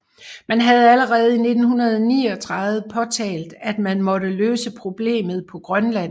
Man havde allerede i 1939 påtalt at man måtte løse problemet på Grønland